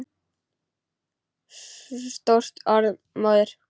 Stórt orð móðir!